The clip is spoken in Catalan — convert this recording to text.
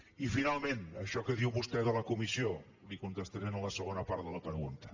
i finalment això que diu vostè de la comissió li contestaré en la segona part de la pregunta